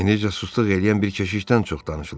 Enerjicə susluq eləyən bir keşişdən çox danışılır.